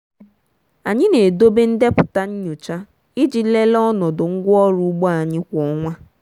anyị na-edobe ndepụta nyocha iji lelee ọnọdụ ngwaọrụ ugbo anyị kwa ọnwa.